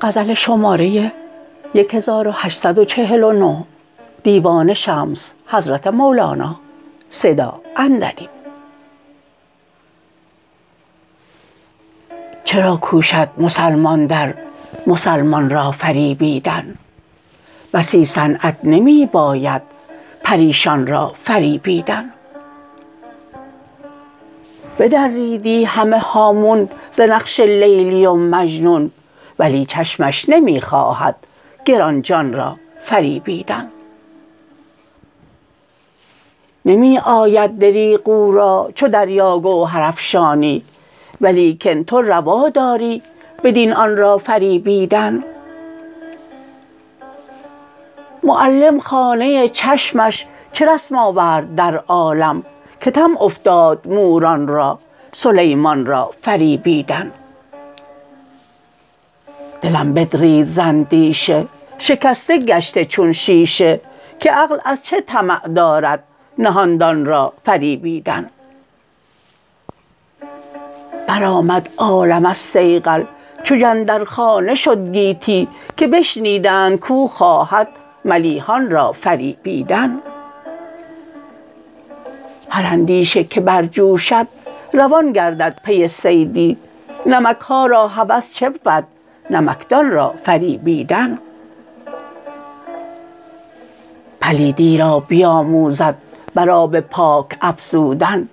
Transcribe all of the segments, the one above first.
چرا کوشد مسلمان در مسلمان را فریبیدن بسی صنعت نمی باید پریشان را فریبیدن بدریدی همه هامون ز نقش لیلی و مجنون ولی چشمش نمی خواهد گران جان را فریبیدن نمی آید دریغ او را چو دریا گوهرافشانی ولیکن تو روا داری بدین آن را فریبیدن معلم خانه چشمش چه رسم آورد در عالم که طمع افتاد موران را سلیمان را فریبیدن دلم بدرید ز اندیشه شکسته گشته چون شیشه که عقل از چه طمع دارد نهان دان را فریبیدن برآمد عالم از صیقل چو جندرخانه شد گیتی که بشنیدند کو خواهد ملیحان را فریبیدن هر اندیشه که برجوشد روان گردد پی صیدی نمک ها را هوس چه بود نمکدان را فریبیدن پلیدی را بیاموزد بر آب پاک افزودن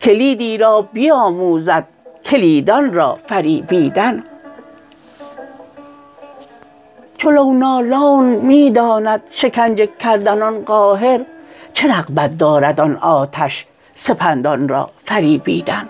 کلیدی را بیاموزد کلیدان را فریبیدن چو لونالون می داند شکنجه کردن آن قاهر چه رغبت دارد آن آتش سپندان را فریبیدن